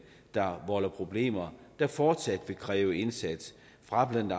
der volder problemer der fortsat vil kræve en indsats fra blandt